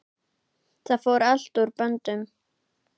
Það fór allt úr böndum.